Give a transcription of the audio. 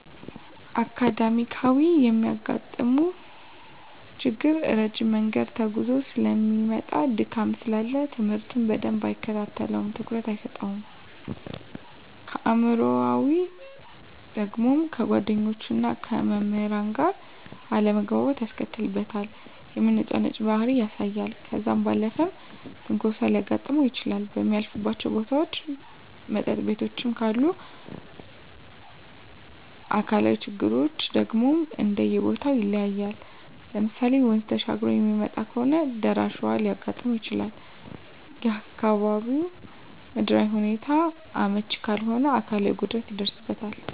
አካዳሚካያዊ የሚያጋጥመው ችግር ረጅም መንገድ ተጉዞ ሰለሚመጣ ድካም ስላለ ትምህርቱን በደንብ አይከታተለውም ትኩረት አይሰጠውም። አእምሯዊ ደግሞ ከጓደኞቹና ከመምህራን ጋር አለመግባባት ያስከትልበታል የመነጫነጭ ባህሪ ያሳያል። ከዛ ባለፈም ትንኮሳም ሊያጋጥም ይችላል በሚያልፍባቸው ቦታዎች መጠጥ ቤቶችም ካሉ። አካላዊ ችግሮች ደግሞ እንደየቦተው ይለያያል ለምሳሌ ወንዝ ተሻግሮ የሚመጣ ከሆነ ደራሽ ውሀ ሊያጋጥመው ይችላል፣ የአካባቢው ምድራዊ ሁኔታው አመች ካልሆነ አካላዊ ጉድለት ይደርስበታል።